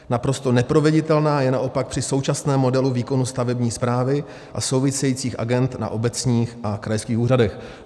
Naprosto neproveditelná je naopak při současném modelu výkonu stavební správy a souvisejících agend na obecních a krajských úřadech."